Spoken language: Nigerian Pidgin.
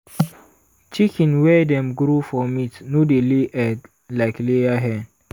chicken wey dem grow for meat no dey lay egg like layer hen.